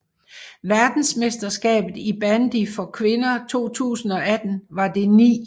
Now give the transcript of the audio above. Verdensmesterskabet i bandy for kvinder 2018 var det 9